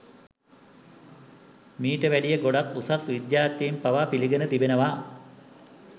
මීට වැඩිය ගොඩක් උසස් විද්‍යාඥයින් පවා පිළිගෙන තිබෙනවා